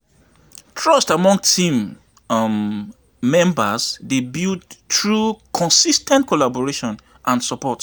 Trust among team um members dey build through consis ten t collaboration and support.